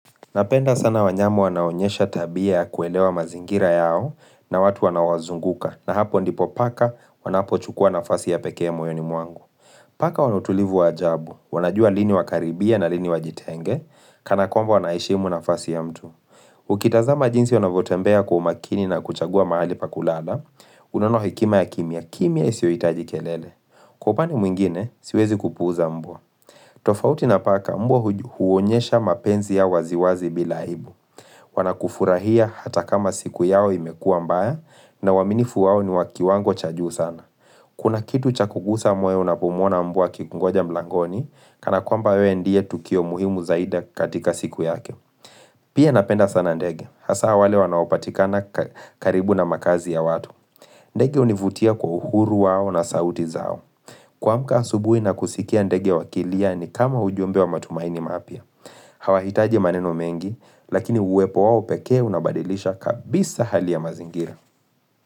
Napenda sana wanyama wanao onyesha tabia ya kuelewa mazingira yao, na watu wanao wazunguka na hapo ndipo paka wanapo chukuwa nafasi ya pekee moyoni mwangu. Paka wana utulivu wa ajabu, wanajua lini wakaribie na lini wajitenge, kana kwamba wanaheshimu nafasi ya mtu. Ukitazama jinsi wanavyotembea kwa umakini na kuchagua mahali pa kulala, unono hekima ya kimya kimya isiohitaji kelele. Kwa upande mwingine, siwezi kupuuza mbwa. Tofauti na paka mbwa huonyesha mapenzi ya waziwazi bila aibu. Wanakufurahia hata kama siku yao imekuwa mbaya na uaminifu wao ni wa kiwango cha juu sana. Kuna kitu cha kuguza moyo unapo mwona mbwa akikungoja mlangoni, kana kwamba wewe ndiye tukio muhimu zaidi katika siku yake. Pia napenda sana ndege. Hasaa wale wanaopatikana karibu na makaazi ya watu. Ndege hunivutia kwa uhuru wao na sauti zao. Kuamka asubuhi na kusikia ndege wakilia ni kama ujumbe wa matumaini mapya. Hawahitaji maneno mengi, lakini uwepo wao pekee unabadilisha kabisa hali ya mazingira.